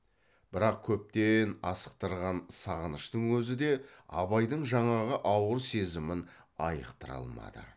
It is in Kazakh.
бірақ көптен асықтырған сағыныштың өзі де абайдың жаңағы ауыр сезімін айықтыра алмады